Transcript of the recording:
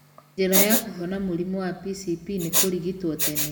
Njĩra ya kũhona mũrimũ wa PCP nĩ kũrigitwo tene.